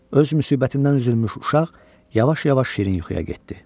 Öz müsibətindən üzülmüş uşaq yavaş-yavaş şirin yuxuya getdi.